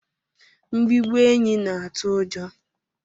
Mbigbọ enyi na atụ ụjọ.